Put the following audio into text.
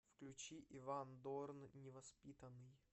включи иван дорн невоспитанный